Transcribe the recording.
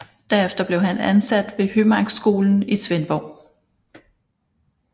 Derefter blev han ansat ved Hømarkskolen i Svendborg